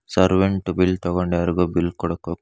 servant bill ತಗೊಂಡು ಯಾರಗೊ bill ಕೊಡಕ್ ಹೋಗ್--